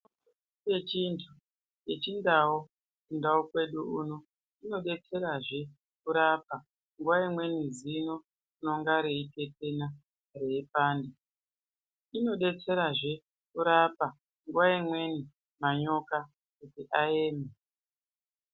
Mitombo yedu yechindau kundau kwedu uno inodetserazve kurape nguwa imweni zino rinenge reitetena reipanda. Inobatsirazve kurape nguwa imweni manyoka kuti aende.